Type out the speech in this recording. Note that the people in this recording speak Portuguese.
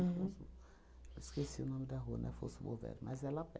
Uhum. Esqueci o nome da rua, não é Alfonso Bovero, mas é lá